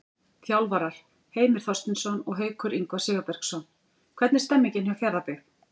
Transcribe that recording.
Þjálfarar: Heimir Þorsteinsson og Haukur Ingvar Sigurbergsson Hvernig er stemningin hjá Fjarðabyggð?